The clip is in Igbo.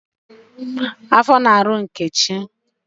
Afọ na-arụ Nkechi